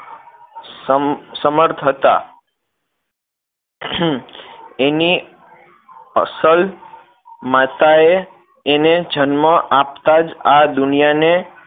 સમર્થ હતા એની અસલ માતા એ એને જન્મ આપતા જ આ દુનિયા ને